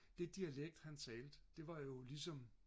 det dialekt han talte det var jo ligesom